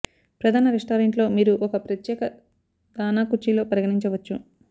ప్రధాన రెస్టారెంట్ లో మీరు ఒక ప్రత్యేక దాణా కుర్చీలో పరిగణించవచ్చు